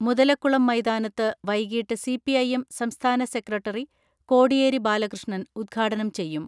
മുതലക്കുളം മൈതാനത്ത് വൈകിട്ട് സി.പി.ഐ.എം സംസ്ഥാന സെക്രട്ടറി കോടിയേരി ബാലകൃഷ്ണൻ ഉദ്ഘാടനം ചെയ്യും.